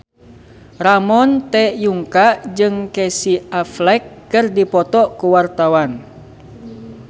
Ramon T. Yungka jeung Casey Affleck keur dipoto ku wartawan